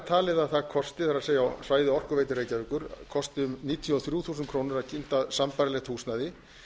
talið að það kosti það er á svæði orkuveitu reykjavíkur kosti um níutíu og þrjú þúsund krónur að kynda sambærilegt húsnæði